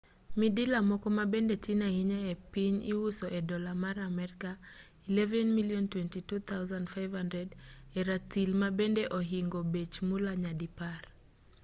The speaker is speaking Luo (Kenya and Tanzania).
midila moko mabende tin ahinya e piny iuso e dollar mar amerka 11,000 22,500 e ratil mabende ohingo bech mula nyadipar